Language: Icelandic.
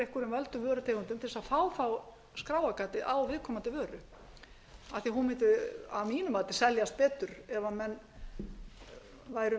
einhverjum völdum vörutegundum til að fá þá skráargatið á viðkomandi vöru af því að hún mundi að mínu mati seljast betur ef menn væru